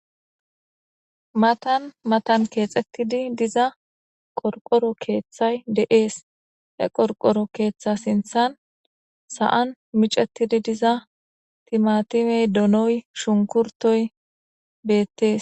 matan matan keexettidi diza qorqoro keeththay de7ees e qorqoro keeththa sinthan sa7an micettidi diza timatimey donoy shunkurtoy beettees